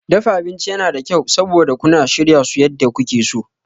Dafa abinci yana da kyau, saboda kuna shirya su yadda kuke so.